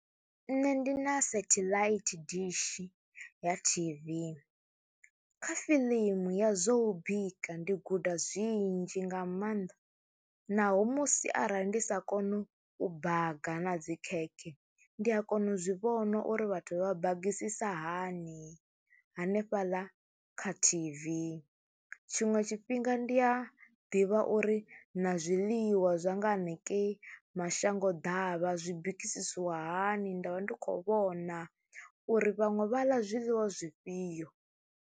Nṋe ndi na satellite dishi ya T_V kha fiḽimu ya zwo u bika ndi guda zwinzhi nga maanḓa naho musi arali ndi sa koni u baga na dzi khekhe, ndi a kona u zwi vhona uri vhathu vha bagisisa hani hanefhaḽa kha T_V. Tshiṅwe tshifhinga ndi a ḓivha uri na zwiḽiwa zwa nga hanengei mashango ḓavha zwi bikisiwa hani, nda vha ndi khou vhona uri vhaṅwe vha ḽa zwiḽiwa zwifhio.